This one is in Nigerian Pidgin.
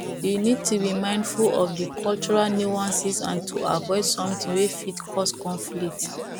you need to be mindful of di cultural nuances and to avoid something wey fit cause conflict